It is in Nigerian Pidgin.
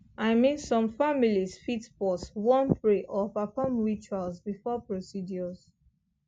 i mean some families fit pause wan pray or perform rituals before procedures